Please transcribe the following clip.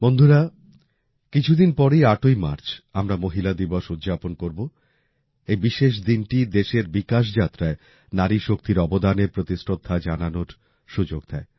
বন্ধুরা কিছুদিন পরেই ৮ই মার্চ আমরা মহিলা দিবস উদযাপন করব এই বিশেষ দিনটি দেশের বিকাশ যাত্রায় নারী শক্তির অবদানের প্রতি শ্রদ্ধা জানানোর সুযোগ দেয়